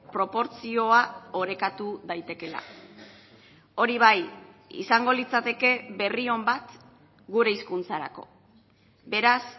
proportzioa orekatu daitekeela hori bai izango litzateke berri on bat gure hizkuntzarako beraz